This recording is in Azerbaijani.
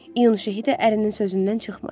İyun şəhidə ərinin sözündən çıxmadı.